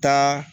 Taa